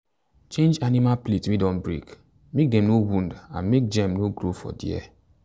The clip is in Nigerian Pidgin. change animal plate wey don break make dem no wound and make germ no grow for there.